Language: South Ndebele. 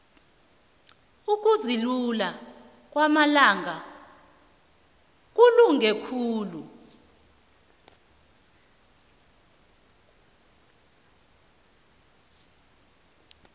ukuzilula ngamalanga kulunge khulu